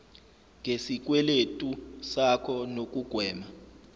ngesikweletu sakho nokugwema